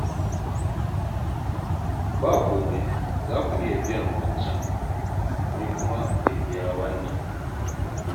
Ba komai. Za ku iya biyan wancan, ni kuma in biya wannan.